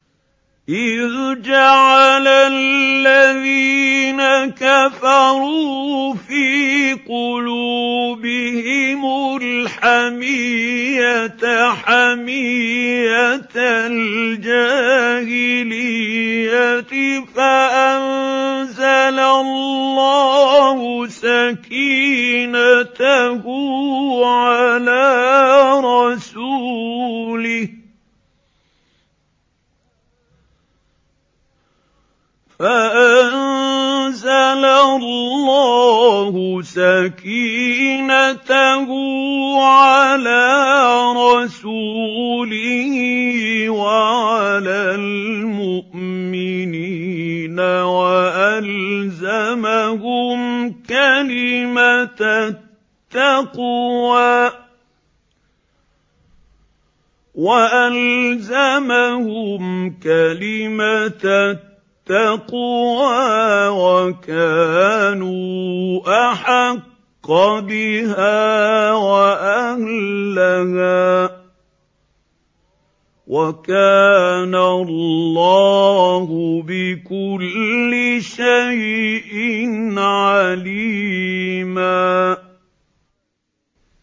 إِذْ جَعَلَ الَّذِينَ كَفَرُوا فِي قُلُوبِهِمُ الْحَمِيَّةَ حَمِيَّةَ الْجَاهِلِيَّةِ فَأَنزَلَ اللَّهُ سَكِينَتَهُ عَلَىٰ رَسُولِهِ وَعَلَى الْمُؤْمِنِينَ وَأَلْزَمَهُمْ كَلِمَةَ التَّقْوَىٰ وَكَانُوا أَحَقَّ بِهَا وَأَهْلَهَا ۚ وَكَانَ اللَّهُ بِكُلِّ شَيْءٍ عَلِيمًا